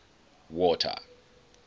water